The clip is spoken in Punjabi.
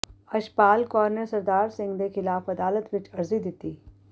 ਅਸ਼ਪਾਲ ਕੌਰ ਨੇ ਸਰਦਾਰ ਸਿੰਘ ਦੇ ਖਿਲਾਫ ਅਦਾਲਤ ਵਿੱਚ ਅਰਜ਼ੀ ਦਿੱਤੀ